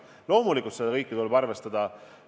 Loomulikult seda kõike tuleb arvestada.